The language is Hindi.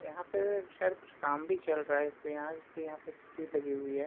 यहां पे शायद कुछ काम भी चल रहा इसलिए यहां इसलिए तस्वीर लगी हुई है।